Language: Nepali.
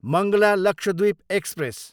मङ्गला लक्षद्वीप एक्सप्रेस